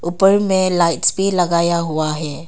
ऊपर में लाइटस भी लगाया हुआ है।